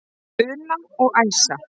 Una og Æsa.